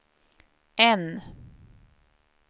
N